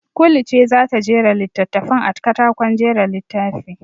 Kulu ce za ta jera littattafan a katakon jera littafi.